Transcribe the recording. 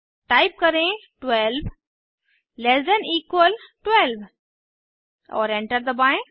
type करें 12 less than equal 12 और enter दबाएं